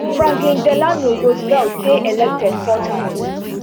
franklin delano roosevelt dey elected four times